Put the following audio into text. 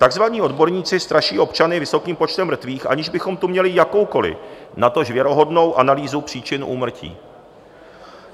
Takzvaní odborníci straší občany vysokým počtem mrtvých, aniž bychom tu měli jakoukoli, natož věrohodnou analýzu příčin úmrtí.